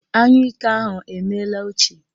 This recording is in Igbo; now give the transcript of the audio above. Anyụike ahụ emeela ochie